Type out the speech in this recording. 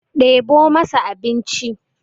ɗebo masa abinci!